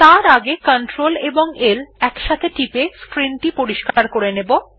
তার আগে Cltl একসাথে টিপে স্ক্রিন পরিস্কার করে নেব